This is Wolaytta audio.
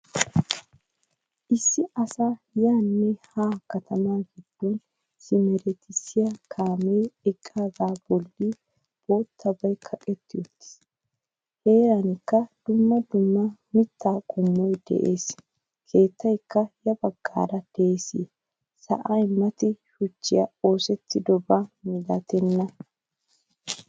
Issi asaa yaane haa katama giddon simerettisiya kaame eqqaaga bolli boottaabay kaqqetti uttiis. Heeranikka dumma dumma mitta qommoy de'ees. Keettaykka ya baggaara de'ees. Sa'ay mati shuchchi oosettidoba milattenna.